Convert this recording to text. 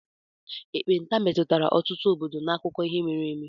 ekpenta metụtara ọtụtụ obodo n'akụkọ ihe mere eme.